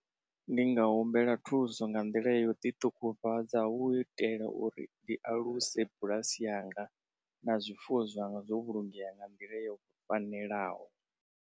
Ndi nga humbela thuso nga nḓila yo ḓi ṱungufhadza hu u itela uri ndi aluse bulasi yanga na zwifuwo zwanga zwo vhulungea nga nḓila yo fanelaho.